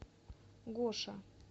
гоша